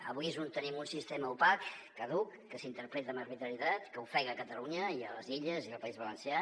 avui tenim un sistema opac caduc que s’interpreta amb arbitrarietat que ofe·ga catalunya i les illes i el país valencià